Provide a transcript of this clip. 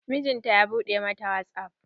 Mijinata ya buɗe ma ta wasap.